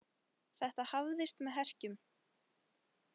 Þetta hafðist með herkjum.